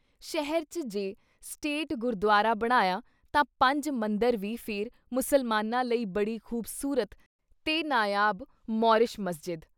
ਸ਼ਹਿਹ ‘ਚ ਜੇ ਸਟੇਟ ਗੁਰਦੁਆਰਾ ਬਣਾਇਆ ਤਾਂ ਪੰਜ-ਮੰਦਿਰ ਵੀ ਫਿਰ ਮੁਸਲਮਾਨਾਂ ਲਈ ਬੜੀ ਖੂਬਸੂਰਤ ਤੇ ਨਾਯਾਬ ਮੌਰਿਸ਼ ਮਸਜਿਦ।